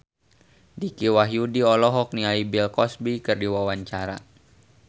Dicky Wahyudi olohok ningali Bill Cosby keur diwawancara